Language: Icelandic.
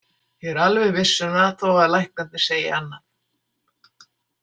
Ég er alveg viss um það þó að læknarnir segi annað.